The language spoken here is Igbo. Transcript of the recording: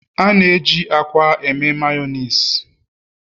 A na-eji akwa eme Mayonezi